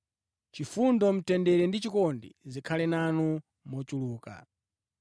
Chifundo, mtendere ndi chikondi zikhale nanu mochuluka.